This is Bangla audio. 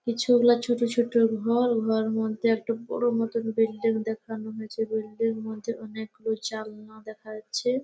কিছু ওগলা ছোট ছোট ঘর ঘর মধ্যে একটা বড়ো মতো বিল্ডিং দেখানো হয়েছে বিল্ডিং মধ্যে অনেকগুলো চালনা দেখা যাচ্ছে।